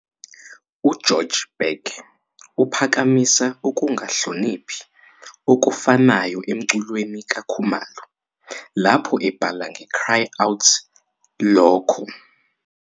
UGeorg Beck uphakamisa ukungahloniphi okufanayo emculweni kaKhumalo lapho ebhala ngeCry Out lokho